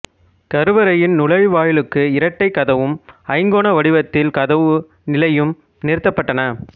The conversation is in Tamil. கருவறையின் நுழைவாயிலுக்கு இரட்டைக் கதவும் ஐங்கோண வடிவத்தில் கதவு நிலையும் நிறுத்தப்பட்டன